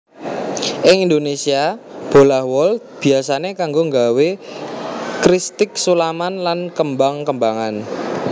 Ing Indonésia bolah wol biyasané kanggo nggawé kristik sulaman lan kembang kembangan